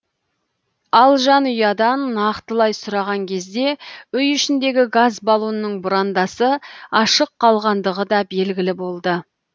ал жанұядан нақтылай сұраған кезде үй ішіндегі газ балонның бұрандасы ашық қалғандығы да белгілі болды